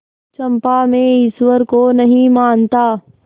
चंपा मैं ईश्वर को नहीं मानता